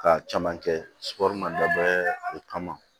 Ka caman kɛ ma dabɔ o kama